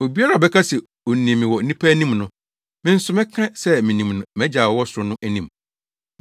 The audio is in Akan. “Obiara a ɔbɛka se onim me wɔ nnipa anim no, me nso mɛka se minim no mʼagya a ɔwɔ ɔsoro no anim.